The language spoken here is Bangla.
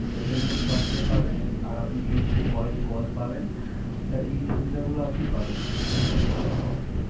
SMS per day পাবেন আর আপনি HD Voice Call পাবেন। এই সুবিধাগুলো আপনি পাবেন স্যার